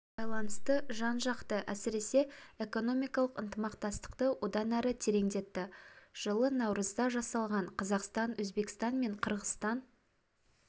байланысты жан-жақты әсіресе экономикалық ынтымақтастықты одан әрі тереңдетті жылы наурызда жасалған қазақстан өзбекстан мен қырғызстан